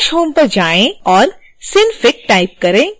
dash home पर जाएँ और synfig टाइप करें